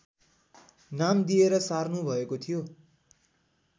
नाम दिएर सार्नु भएको थियो